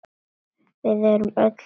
Við erum öll Ham!